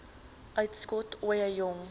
uitskot ooie jong